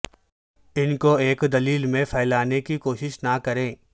ان کو ایک دلیل میں پھیلانے کی کوشش نہ کریں